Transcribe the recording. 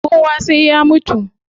Kowa sai ya mutu